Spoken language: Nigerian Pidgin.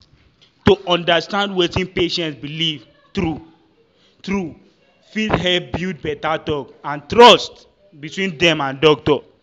to understand wetin patient believe true-true fit help build better talk and trust between dem and doctor.